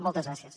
moltes gràcies